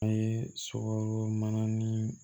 An ye sukɔro mana ni